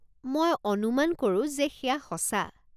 মই অনুমান কৰো যে সেয়া সঁচা।